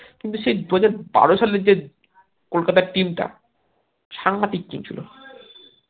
কিন্তু সেই দুহাজার বারো সালের যে কলকাতার team টা সাংঘাতিক team ছিল